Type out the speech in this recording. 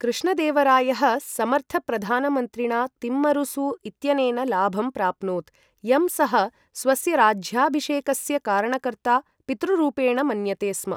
कृष्णदेवरायः समर्थप्रधानमन्त्रिणा तिम्मरुसु इत्यनेन लाभं प्राप्नोत्, यम् सः स्वस्य राज्याभिषेकस्य कारणकर्ता, पितृरूपेण मन्यते स्म।